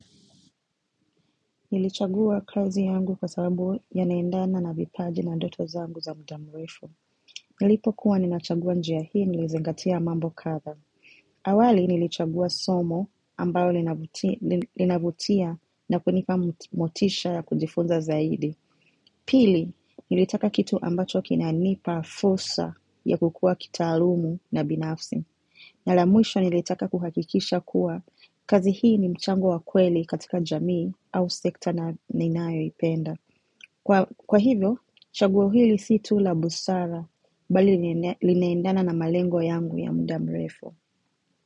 Nilichagua kazi yangu kwa sababu yanaendana na vipaji na ndoto zangu za muda murefu. Nilipokuwa ninachagua njia hii nilizingatia mambo kadha. Awali nilichagua somo ambayo linavutia na kunipa motisha ya kujifunza zaidi. Pili, nilitaka kitu ambacho kina nipa fursa ya kukua kitaalumu na binafsi. Na la mwisho nilitaka kuhakikisha kuwa kazi hii ni mchango wa kweli katika jamii au sekta na ninayoipenda. Kwa hivyo, chaguo hili si tu la busara bali linaendana na malengo yangu ya muda mrefu.